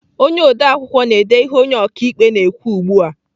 Onye odeakwụkwọ na-ede ihe onye ọkaikpe na-ekwu ugbu a.